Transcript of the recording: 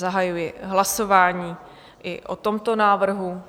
Zahajuji hlasování i o tomto návrhu.